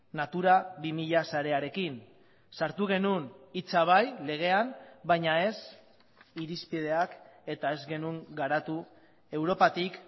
natura bi mila sarearekin sartu genuen hitza bai legean baina ez irizpideak eta ez genuen garatu europatik